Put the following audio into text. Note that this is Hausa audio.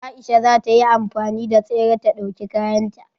Aisha za ta yi amfani da tsere ta dauki kayan ta.